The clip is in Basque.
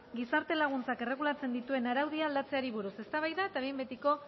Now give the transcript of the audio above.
gizarte laguntzak erregulatzen dituen araudia aldatzeari buruz eztabaida eta behin betiko